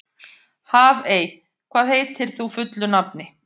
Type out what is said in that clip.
Hafey, hvað heitir þú fullu nafni?